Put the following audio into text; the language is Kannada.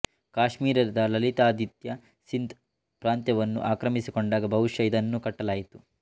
ಕಾಶ್ಮೀರದ ಲಲಿತಾದಿತ್ಯ ಸಿಂಧ್ ಪ್ರಾಂತವನ್ನು ಆಕ್ರಮಿಸಿಕೊಂಡಾಗ ಬಹುಶಃ ಇದನ್ನು ಕಟ್ಟಲಾಯಿತು